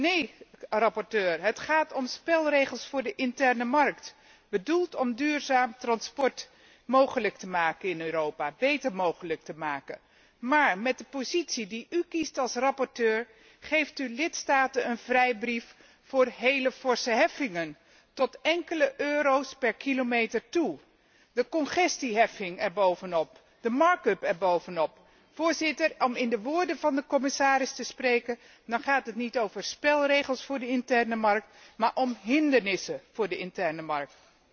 Nee, rapporteur, het gaat om spelregels voor de interne markt, bedoeld om duurzaam transport beter mogelijk te maken in Europa. Maar met de positie die u kiest als rapporteur geeft u lidstaten een vrijbrief voor heel forse heffingen, tot enkele euro's per kilometer toe. De congestieheffing er bovenop, de er bovenop. Voorzitter, om in de woorden van de commissaris te spreken, gaat het hier niet om spelregels voor de interne markt, maar om hindernissen voor de interne markt.